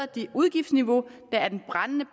det udgiftsniveau der er den brændende